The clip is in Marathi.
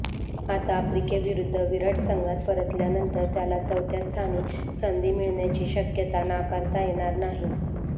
आता आफ्रिकेविरुद्ध विराट संघात परतल्यानंतर त्याला चौथ्या स्थानी संधी मिळण्याची शक्यता नाकारता येणार नाही